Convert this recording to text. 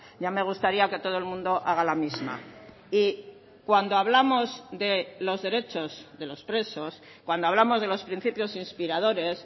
ya me gustaría que todo el mundo haga la misma y cuando hablamos de los derechos de los presos cuando hablamos de los principios inspiradores